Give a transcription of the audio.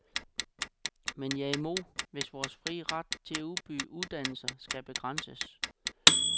Men jeg er imod, hvis vores fri ret til at udbyde uddannelser skal begrænses.